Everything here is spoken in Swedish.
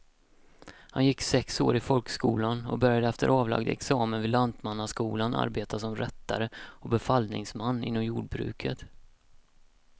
Han gick sex år i folkskolan och började efter avlagd examen vid lantmannaskolan arbeta som rättare och befallningsman inom jordbruket.